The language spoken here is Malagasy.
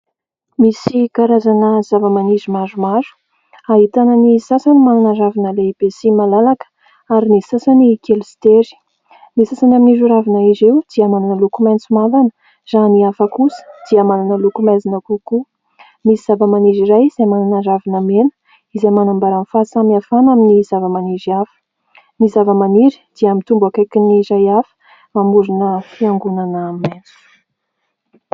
Misy karazana zavamaniry maromaro ahitana ny sasany manana ravina lehibe sy malalaka ary ny sasany kely sy tery. Ny sasany amin'ireo ravina ireo dia manana loko maitso mavana, raha ny hafa kosa dia manana loko maizina kokoa. Misy zavamaniry iray izay manana ravina mena izay manambara fahasamihafana amin'ny zavamaniry hafa. Ny zavamaniry dia mitombo akaikin'ny iray hafa mamorona fiangonana maitso.